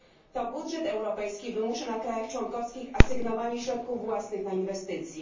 To budżet europejski wymusza na krajach członkowskich asygnowanie środków własnych na inwestycje.